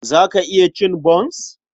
Za ka iya cin bons?